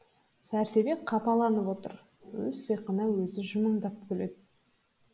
сәрсебек қапаланып отыр өз сиқына өзі жымыңдап күледі